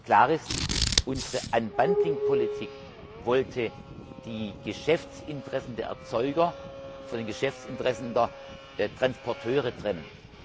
Klar ist Unsere Unbundling Politik wollte die Geschäftsinteressen der Erzeuger von den Geschäftsinteressen der Transporteure trennen.